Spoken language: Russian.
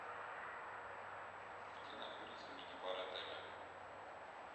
где находится мини бар отеля